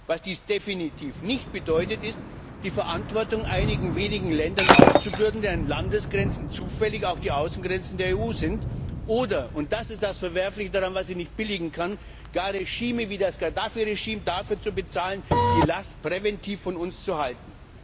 Was dies definitiv nicht bedeutet, ist die Verantwortung einigen wenigen Ländern aufzubürden, deren Landesgrenzen zufällig auch die Außengrenzen der EU sind, oder und das ist das Verwerfliche daran, was ich nicht billigen kann gar Regime wie das Gaddafi Regime dafür zu bezahlen, die Last präventiv von uns fernzuhalten.